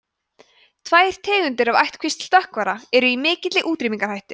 tvær tegundir af ættkvísl stökkvara eru í mikilli útrýmingarhættu